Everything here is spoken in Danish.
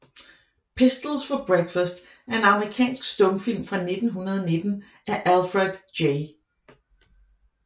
Pistols for Breakfast er en amerikansk stumfilm fra 1919 af Alfred J